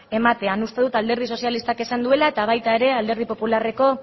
ematean uste dut alderdi sozialistak esan duela eta baita alderdi popularreko